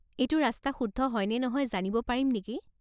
এইটো ৰাস্তা শুদ্ধ হয় নে নহয় জানিব পাৰিম নেকি?